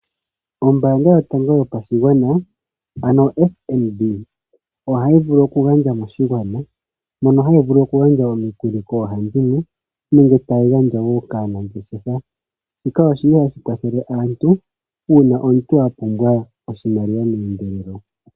Ombanga yotango yopashigwana ano oFNB oha yi vulu oku gandja moshigwana mono hayi vulu oku gandja omikuli koohandimwe nenge tayi gandja wo kaanangeshefa. Shika oshili hashi kwathele aantu una omuntu a pumbwa oshimaliwa meendelelo.